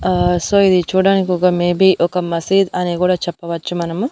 ఆ సో ఇది చూడ్డానికొక మేబీ ఒక మసీద్ అని కూడా చెప్పవచ్చు మనము--